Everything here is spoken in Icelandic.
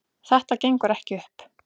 Þetta gengur ekki upp